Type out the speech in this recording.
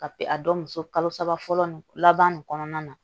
Ka pe a dɔ muso kalo saba fɔlɔ nin laban nin kɔnɔna na